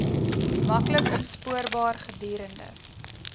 maklik opspoorbaar gedurende